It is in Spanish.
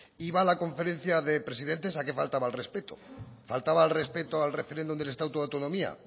iba a la conferencia de presidentes a qué faltaba al respeto faltaba al respeto al referéndum del estatuto de autonomía